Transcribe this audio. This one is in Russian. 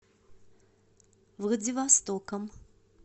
владивостоком